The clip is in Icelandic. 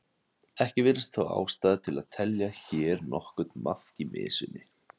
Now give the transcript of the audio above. Ekki virðist þó ástæða til að telja hér nokkurn maðk í mysunni.